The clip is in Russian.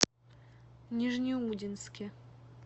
нижнеудинске